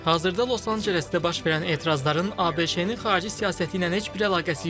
Hazırda Los-Ancelesdə baş verən etirazların ABŞ-nin xarici siyasəti ilə heç bir əlaqəsi yoxdur.